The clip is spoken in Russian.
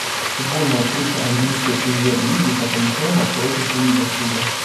футбольная встреча английской премьер лиги тоттенхэма против ливерпуля